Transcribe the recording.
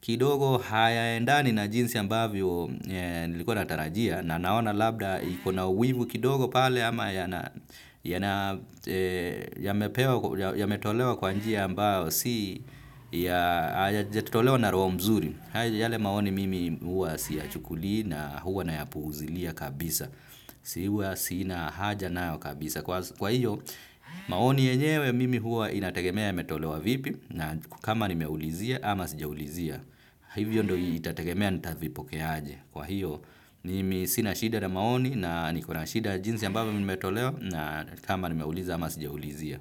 kidogo hayaendani na jinsi ambavyo nilikuwa na tarajia na naona labda iko na wivu kidogo pale ama yametolewa kwa njia ambayo si yajatolewa na roho mzuri. Yale maoni mimi huwa siyachukuli na huwa na yapuuzilia kabisa. Siwa sina haja nayo kabisa. Kwa hiyo, maoni yenyewe mimi huwa inategemea yametolewa vipi na kama nimeulizia ama sijaulizia. Hivyo ndo itategemea nitavipokea aje. Kwa hiyo, mimi sina shida na maoni na niko na shida ya jinsi ambavyo vimetolewa na kama nimeuliza ama sijaulizia.